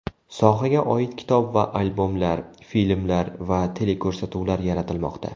Sohaga oid kitob va albomlar, filmlar va teleko‘rsatuvlar yaratilmoqda.